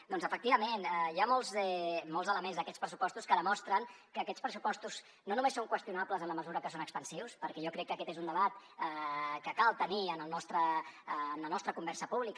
doncs efectivament hi ha molts elements d’aquests pressupostos que demostren que aquests pressupostos no només són qüestionables en la mesura que són expansius perquè jo crec que aquest és un debat que cal tenir en la nostra conversa pública